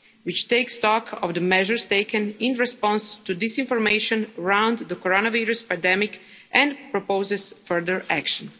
right', which takes stock of the measures taken in response to disinformation around the coronavirus pandemic and proposes further action.